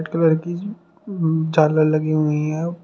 Colour की उम्म झालर लगी हुई हैं।